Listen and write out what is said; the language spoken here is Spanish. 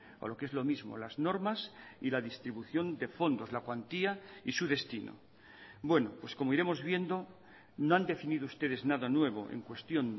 o lo que es lo mismo las normas y la distribución de fondos la cuantía y su destino bueno pues como iremos viendo no han definido ustedes nada nuevo en cuestión